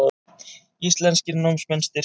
Íslenskir námsmenn styrktir